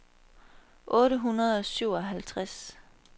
otte hundrede og syvoghalvtreds